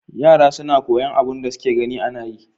Yara na koyan abun da suke gani anayi